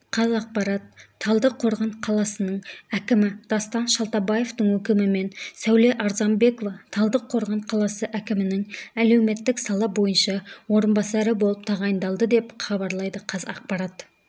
қазақпарат талдықорған қаласының әкімі дастан шалтабевтың өкімімен сәуле арзанбекова талдықорған қаласы әкімінің әлеуметтік сала бойынша орынбасары болып тағайындалды деп хабарлайды қазақпарат